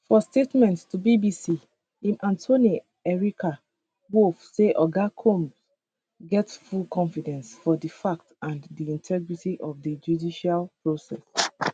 for statement to bbc im attorney erica wolff say oga combs get full confidence for di facts and di integrity of di judicial process